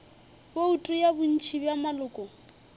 bouto ya bontši bja maloko